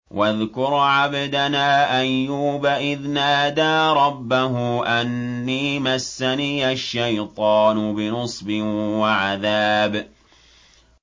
وَاذْكُرْ عَبْدَنَا أَيُّوبَ إِذْ نَادَىٰ رَبَّهُ أَنِّي مَسَّنِيَ الشَّيْطَانُ بِنُصْبٍ وَعَذَابٍ